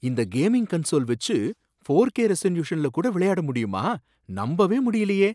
இந்த gaming console வச்சு four K ரெசல்யூஷன்ல கூட விளையாட முடியுமா நம்பவே முடியலையே